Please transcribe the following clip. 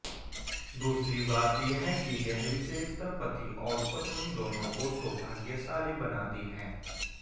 दूसरी बात यह कि यह विशेषता पति और पत्नी दोनों को सौभाग्यशाली बनाती है